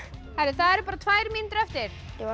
það eru bara tvær mínútur eftir ég var